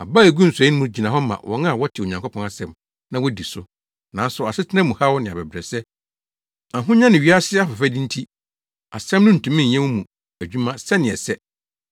Aba a eguu nsɔe mu no gyina hɔ ma wɔn a wɔte Onyankopɔn asɛm, na wodi so, nanso asetena mu haw ne abɛbrɛsɛ, ahonya ne wiase afɛfɛde nti, asɛm no ntumi nyɛ wɔn mu adwuma sɛnea ɛsɛ.